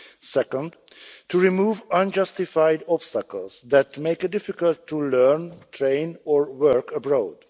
Secondly, to remove unjustified obstacles that make it difficult to learn, train or work abroad.